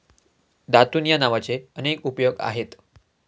दातून या नावाचे अनेक उपयोग आहेत.